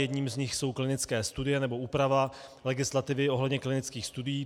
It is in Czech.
Jedním z nich jsou klinické studie nebo úprava legislativy ohledně klinických studií.